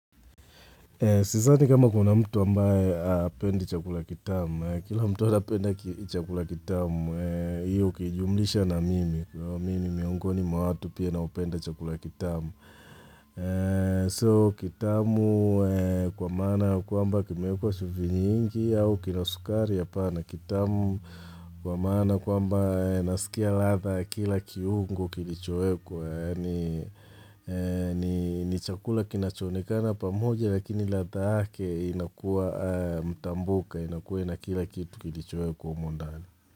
Sidhani kama kuna mtu amabaye hapendi chakula kitamu, kila mtu apenda chakula kitamu, iyo ukijumulisha na mimi, kwahivyo mimi ni miongoni mwaw atu pia naupenda chakula kitamu. Sio, kitamu kwa maana kwamba kimeekwa chumvi nyingi au kinasukari hapan kitamu kwa maana kwamba nasikia latha ya kila kiungo kilichoekwa. Ni chakula kinacho onekana pamoja lakini ladha yake inakuwa mtambuka, inakuwa na kila kitu kilichowekwa humo ndani.